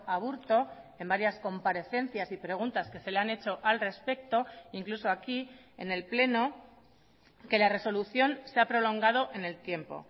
aburto en varias comparecencias y preguntas que se le han hecho al respecto incluso aquí en el pleno que la resolución se ha prolongado en el tiempo